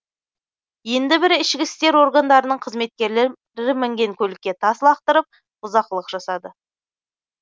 енді бірі ішік істер органдарының қызметкерлері мінген көлікке тас лақтырып бұзақылық жасады